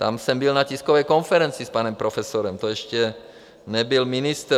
Tam jsem byl na tiskové konferenci s panem profesorem, to ještě nebyl ministr.